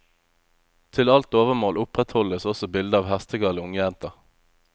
Til alt overmål opprettholdes også bilde av hestegale ungjenter.